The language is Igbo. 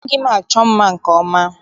Amaghị m achọ mma nke ọma.